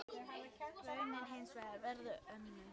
Raunin er hins vegar önnur.